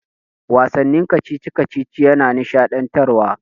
Wasannin kacici-kacici yana nishaɗantarwa.